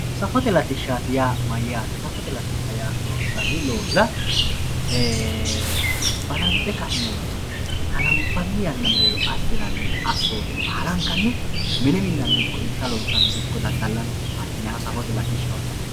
safote latishsha yaa mayyate safote latishshi yaa loonsanni loosira balanxe ka'ne hananfanni yannara assinanni assoote baalankanni mine minnate ikko irsha loosate ikko dadda'late ikko konne baala safote latishshaati yinanni.